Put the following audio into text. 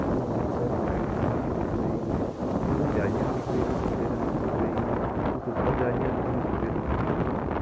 बहुत सारी लाइट लगी हुई दिख रही है और यहाँ पर जालियां दिख रही हैं जो पिले रंग सी दिख रही हैं कुछ ऊपर जालियां दिख रही सफ़ेद रंग की दिख रही हैं।